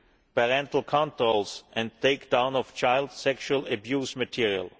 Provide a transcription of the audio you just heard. parental controls and take down of child sexual abuse material.